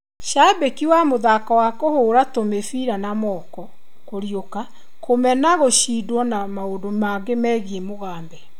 Cabĩki wa mũthako wa kũhura tũmĩbira na moko, 'kũriũka', kũmena gũcindwo na maũndũ mangĩ megiĩ Mugabe.